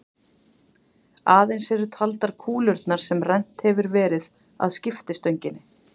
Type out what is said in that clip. Aðeins eru taldar kúlurnar sem rennt hefur verið að skiptistönginni.